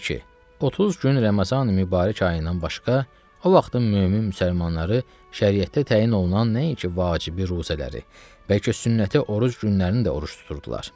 30 gün Ramazani Mübarək ayından başqa o vaxtın mömin müsəlmanları şəriətdə təyin olunan nəinki vacibi ruzələri, bəlkə sünnəti oruc günlərinin də oruc tuturdular.